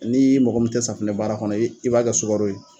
Nii mɔgɔ min te safinɛ baara kɔnɔ i b'a kɛ sugaro ye